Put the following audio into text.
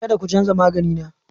Kada ku canza magani na!